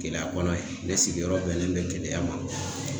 Keleya kɔnɔ ye ne sigiyɔrɔ bɛnnen bɛ Keleya ma.